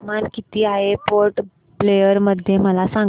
तापमान किती आहे पोर्ट ब्लेअर मध्ये मला सांगा